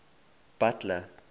butler